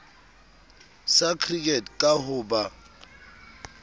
sa cricket ka ho ba